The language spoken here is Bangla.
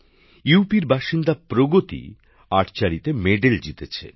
উত্তর প্রদেশের বাসিন্দা প্রগতি তীরন্দাজীতে পদক জিতেছেন